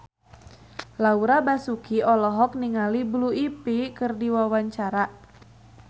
Laura Basuki olohok ningali Blue Ivy keur diwawancara